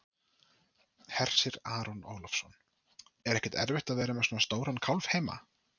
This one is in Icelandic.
Hersir Aron Ólafsson: Er ekkert erfitt að vera með svona stóran kálf heima?